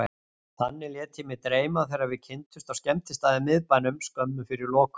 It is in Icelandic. Þannig lét ég mig dreyma þegar við kynntumst á skemmtistað í miðbænum, skömmu fyrir lokun.